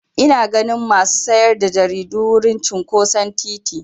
Ina ganin masu sayar da jaridu a wurin cinƙoson titi.